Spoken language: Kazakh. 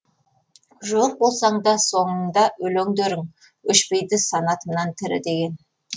жоқ болсаң да соңыңда өлеңдерің өшпейді санатымнан тірі деген